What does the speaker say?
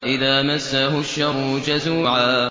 إِذَا مَسَّهُ الشَّرُّ جَزُوعًا